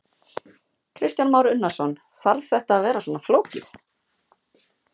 Kristján Már Unnarsson: Þarf þetta að vera svona flókið?